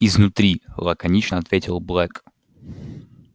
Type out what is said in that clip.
изнутри лаконично ответил блэк